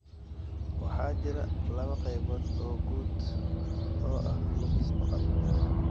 Waxaa jira laba qaybood oo guud oo ah lumis maqal.